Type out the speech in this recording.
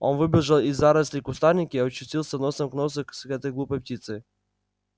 он выбежал из зарослей кустарника и очутился носом к носу с этой глупой птицей